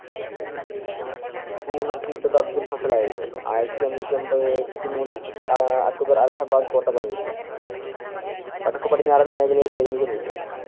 ഉണർത്തിവിട്ടത് അബ്ദുൽ ഫസലായിരുന്നു. ആയിരത്തി അഞ്ഞൂറ്റി എമ്പത്തിമൂന്നിൽ ആഹ് അക്ബർ അലഹബാദ് കോട്ട പണിയിച്ചു. വടക്കുപടിനാറൻ മേഖലയിൽ സൈനീക നീക്കങ്ങൾ